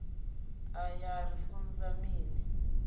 aya a ri funza mini